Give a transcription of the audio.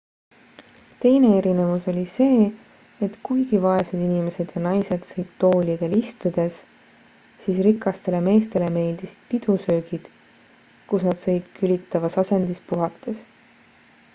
teine erinevus oli see et kuigi vaesed inimesed ja naised sõid toolidel istudes siis rikastele meestele meeldisid pidusöögid kus nad sõid külitavas asendis puhates